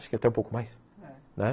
Acho que é até um pouco mais, né? É, né.